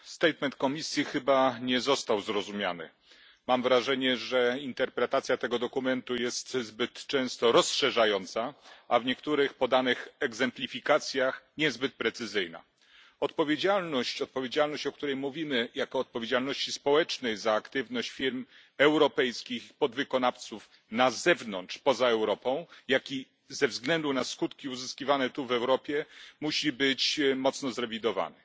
Panie Przewodniczący! Oświadczenie Komisji chyba nie zostało zrozumiane. Mam wrażenie, że interpretacja tego dokumentu jest zbyt często rozszerzająca, a w niektórych podanych egzemplifikacjach niezbyt precyzyjna. Odpowiedzialność, o której mówimy jako o odpowiedzialności społecznej za aktywność firm europejskich i podwykonawców na zewnątrz, poza Europą, jak i ze względu na skutki uzyskiwane tu w Europie, musi być mocno zrewidowana.